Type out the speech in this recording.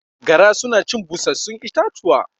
Gara suna cin busasshun itatuwa